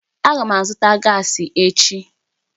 Aga m azụta gaasi echi